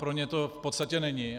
Pro ně to v podstatě není.